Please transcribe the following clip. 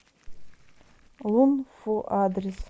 лун фу адрес